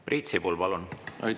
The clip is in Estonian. Priit Sibul, palun!